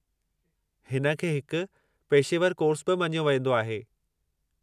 हिन खे हिकु पेशेवरु कोर्सु बि मञियो वेंदो आहे।